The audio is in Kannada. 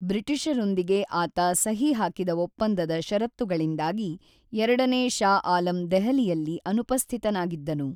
ಬ್ರಿಟಿಷರೊಂದಿಗೆ ಆತ ಸಹಿ ಹಾಕಿದ ಒಪ್ಪಂದದ ಷರತ್ತುಗಳಿಂದಾಗಿ ಎರಡನೇ ಷಾ ಆಲಂ ದೆಹಲಿಯಲ್ಲಿ ಅನುಪಸ್ಥಿತನಾಗಿದ್ದನು.